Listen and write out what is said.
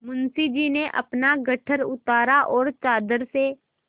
मुंशी जी ने अपना गट्ठर उतारा और चादर से